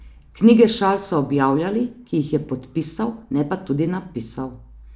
Knjige šal so objavljali, ki jih je podpisal, ne pa tudi napisal.